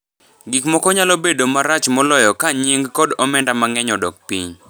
Gik moko nyalo bedo marach moloyo ka nying’ kod omenda mang’eny odok piny.